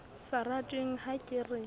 sa ratweng ha ke re